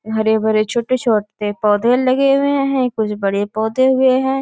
हरे-भरे छोटे-छोटे पौधे लगे हुए है कुछ बड़े पौधे हुए है।